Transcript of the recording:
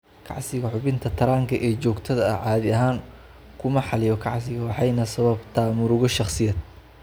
Kacsiga xubinta taranka ee joogtada ah caadi ahaan kuma xaliyo kacsiga waxayna sababtaa murugo shaqsiyeed.